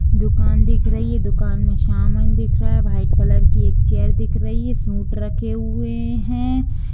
दुकान दिख रही है दुकान में सामान दिखा रहा है वाइट कलर की एक चेयर दिख रही है सुट रखे हुए है।